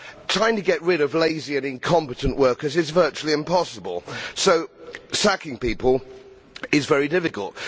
Trying to get rid of lazy and incompetent workers is virtually impossible, so sacking people is very difficult.